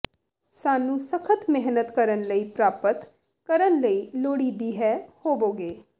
ਸਾਨੂੰ ਸਖ਼ਤ ਮਿਹਨਤ ਕਰਨ ਲਈ ਪ੍ਰਾਪਤ ਕਰਨ ਲਈ ਲੋੜੀਦੀ ਹੈ ਹੋਵੋਗੇ